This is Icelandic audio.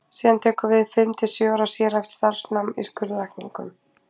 Síðan tekur við fimm til sjö ára sérhæft starfsnám í skurðlækningum.